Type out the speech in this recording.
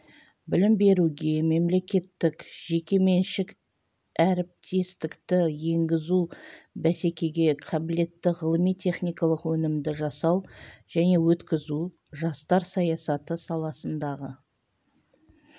білім беруге мемлекеттік-жеке меншік әріптестікті енгізу бәсекеге қабілетті ғылыми-техникалық өнімді жасау және өткізу жастар саясаты саласындағы